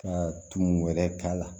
Ka tumu wɛrɛ k'a la